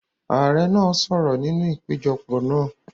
Ààrẹ náà sọ̀rọ̀ nínú ìpéjọpọ̀ náà.